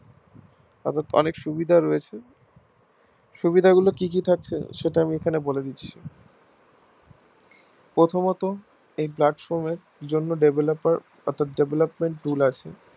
তাদের অনেক সুবিধা রয়েছে সুবিধা গুলো কি কি থাকছে সেটা আমি এখানে বলে দিচ্ছি প্রথমত এই platform এর জন্য developer অর্থাৎ development tool আছে